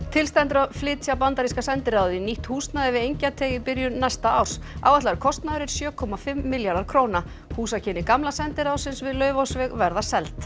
til stendur að flytja bandaríska sendiráðið í nýtt húsnæði við Engjateig í byrjun næsta árs áætlaður kostnaður er sjö komma fimm milljarðar króna húsakynni gamla sendiráðsins við Laufásveg verða seld